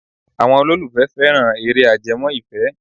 Àwọn olólùfẹ́ fẹ́ran eré ajẹmọ́ ìfẹ́.